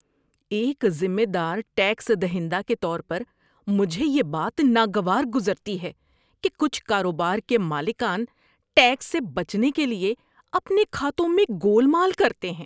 ایک ذمہ دار ٹیکس دہندہ کے طور پر، مجھے یہ بات ناگوار گزرتی ہے کہ کچھ کاروبار کے مالکان ٹیکس سے بچنے کے لیے اپنے کھاتوں میں گول مال کرتے ہیں۔